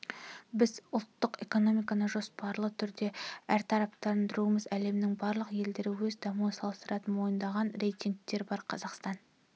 біз ұлттық экономиканы жоспарлы түрде әртараптандырудамыз әлемнің барлық елдері өз дамуын салыстыратын мойындалған рейтингтер бар қазақстан